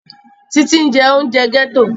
Títí ń jẹ oúnjẹ gẹ́tò